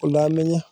ko nekiteno